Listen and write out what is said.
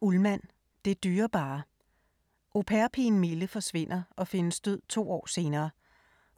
Ullmann, Linn: Det dyrebare Au pair-pigen Mille forsvinder og findes død to år senere.